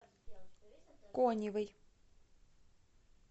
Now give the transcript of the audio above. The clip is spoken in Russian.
коневой